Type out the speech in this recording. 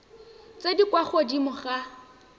tse di kwa godimo ga